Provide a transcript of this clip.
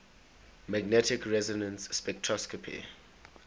magnetic resonance spectroscopy